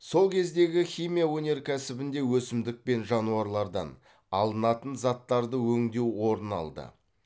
сол кездегі химия өнеркәсібінде өсімдік пен жануарлардан алынатын заттарды өңдеу орын алды